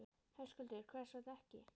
Höskuldur: Hvers vegna ekki?